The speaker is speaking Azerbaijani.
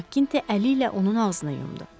Makkinti əliylə onun ağzını yumdu.